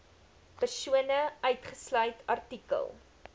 persone uitgesluit artikel